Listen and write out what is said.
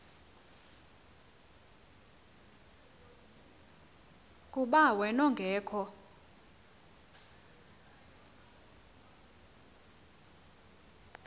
kuba wen ungekho